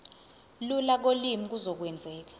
lula kolimi kuzokwenzeka